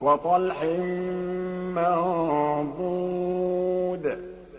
وَطَلْحٍ مَّنضُودٍ